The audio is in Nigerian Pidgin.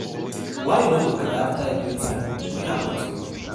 Why you no dey cry after everything wey happen to you?